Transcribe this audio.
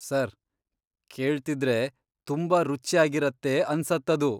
Sir, ಕೇಳ್ತಿದ್ರೆ ತುಂಬಾ ರುಚ್ಯಾಗಿರತ್ತೆ ಅನ್ಸತ್ತದು.